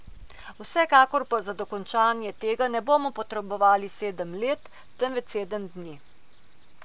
Vsekakor pa za dokončanje tega ne bomo potrebovali sedem let, temveč sedem dni.